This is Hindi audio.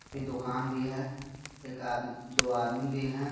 इ दूकान भी हे एक आद दो आदमिन भी हे.